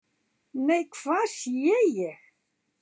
"""NEI, HVAÐ SÉ ÉG!"""